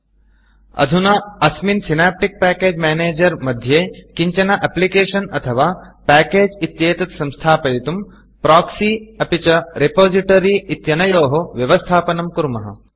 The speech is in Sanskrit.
अधुना अस्मिन् Synaptic package Synaptic package manager मध्ये किञ्चन Applicationएप्लिकेषन् अथवा Packageपेकेज् इत्येतत् संस्थापयितुं Proxyप्रोक्सि अपि च Repositoryरिपोसिटरि इत्यनयोः व्यवस्थापनं कुर्मः